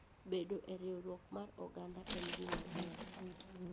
Bedo e riwruok mar oganda en gima ber.